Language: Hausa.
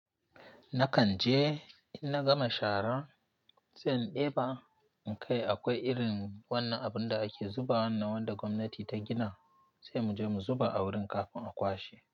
Nakan je in na gama shara, zan ɗeba. Kai akwai irin wannan abun da ake zuba, wannan wanda gwamnati ta gina sai mu je mu zuba a wurin kafin a kwashe.